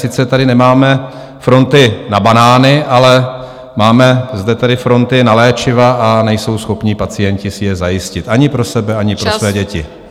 Sice tady nemáme fronty na banány, ale máme zde tedy fronty na léčiva, a nejsou schopni pacienti si je zajistit ani pro sebe, ani pro své děti.